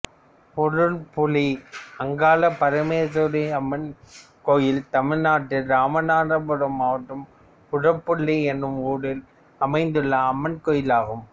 உரப்புளி அங்காளபரமேஸ்வரியம்மன் கோயில் தமிழ்நாட்டில் இராமநாதபுரம் மாவட்டம் உரப்புளி என்னும் ஊரில் அமைந்துள்ள அம்மன் கோயிலாகும்